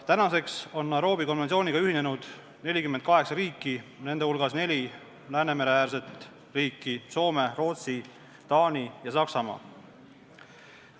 Tänaseks on Nairobi konventsiooniga ühinenud 48 riiki, nende hulgas neli Läänemere-äärset riiki: Soome, Rootsi, Taani ja Saksamaa.